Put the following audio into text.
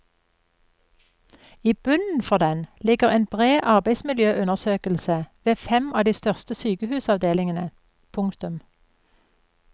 I bunnen for den ligger en bred arbeidsmiljøundersøkelse ved fem av de største sykehusavdelingene. punktum